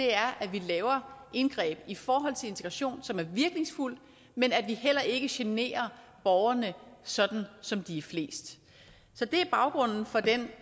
er at vi laver indgreb i forhold til integration som er virkningsfuldt men at vi heller ikke generer borgerne sådan som de er flest så det er baggrunden for det